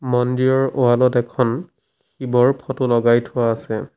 মন্দিৰৰ ৱাল ত এখন শিৱৰ ফটো লগাই থোৱা আছে।